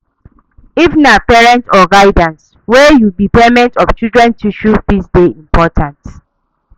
If na parent or guidian wey you be payment of children's tution fee de important